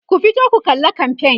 ku fito ku kalla kamfain!